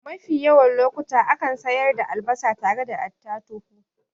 Mafi yawan lokuta akan sayar da albasa tare da attatuhu